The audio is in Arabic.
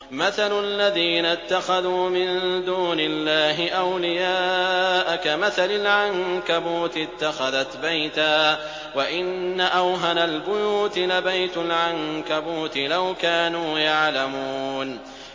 مَثَلُ الَّذِينَ اتَّخَذُوا مِن دُونِ اللَّهِ أَوْلِيَاءَ كَمَثَلِ الْعَنكَبُوتِ اتَّخَذَتْ بَيْتًا ۖ وَإِنَّ أَوْهَنَ الْبُيُوتِ لَبَيْتُ الْعَنكَبُوتِ ۖ لَوْ كَانُوا يَعْلَمُونَ